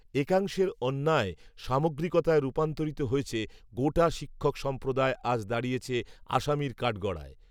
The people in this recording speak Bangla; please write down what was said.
একাংশের অন্যায় সামগ্রিকতায় রূপান্তরিত হয়েছে গোটা শিক্ষকসম্প্রদায় আজ দাঁড়িয়েছে আসামির কাঠগড়ায়